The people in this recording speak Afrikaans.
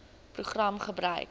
program gebruik